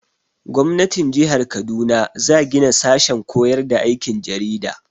Gwamnatin jihar Kaduna za gina sashen koyar da aikin jarida.